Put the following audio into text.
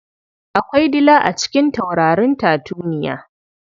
Akwai dila a cikin taurarin tatuniya.